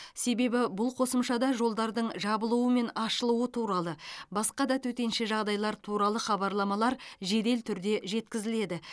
себебі бұл қосымшада жолдардың жабылуы мен ашылуы туралы басқа да төтенше жағдайлар туралы хабарламалар жедел түрде жеткізіледі